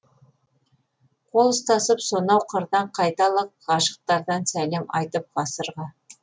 қол ұстасып сонау қырдан қайталық ғашықтардан сәлем айтып ғасырға